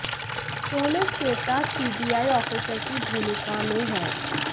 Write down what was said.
show में Shweta CBI officer की भूमिका में हैं